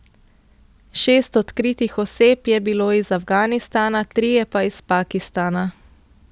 Šest odkritih oseb je bilo iz Afganistana, trije pa iz Pakistana.